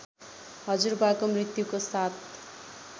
हजुरबाको मृत्युको सात